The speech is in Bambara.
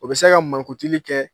O bɛ se ka mankutuli kɛ